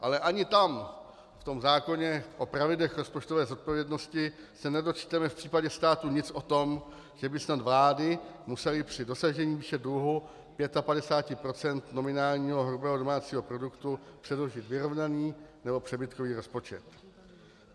Ale ani tam v tom zákoně o pravidlech rozpočtové zodpovědnosti se nedočteme v případě státu nic o tom, že by snad vlády musely při dosažení výše dluhu 55 % nominálního hrubého domácího produktu předložit vyrovnaný nebo přebytkový rozpočet.